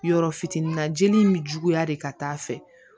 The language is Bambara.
Yɔrɔ fitinin na jeli in mi juguya de ka taa fɛ